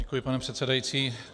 Děkuji, pane předsedající.